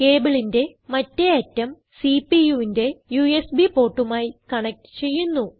കേബിളിന്റെ മറ്റേ അറ്റം CPUവിന്റെ യുഎസ്ബി portമായി കണക്റ്റ് ചെയ്യുന്നു